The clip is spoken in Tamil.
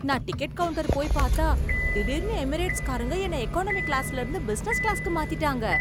நான் டிக்கெட் கவுண்ட்டர் போய் பார்த்தா, திடீர்னு எமிரேட்ஸ்காரங்க என்னை எகானமி கிளாஸ்ல இருந்து பிஸினஸ் கிளாஸ்க்கு மாத்திட்டாங்க.